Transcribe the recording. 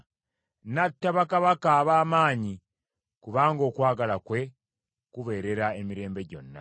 N’atta bakabaka ab’amaanyi, kubanga okwagala kwe kubeerera emirembe gyonna.